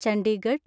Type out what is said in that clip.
Chandigarh